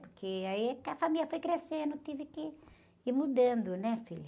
Porque aí a família foi crescendo, tive que ir mudando, né, filho?